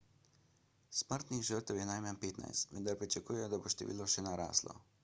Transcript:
smrtnih žrtev je najmanj 15 vendar pričakujejo da bo število še naraslo